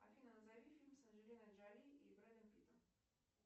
афина назови фильм с анджелиной джоли и брэдом питтом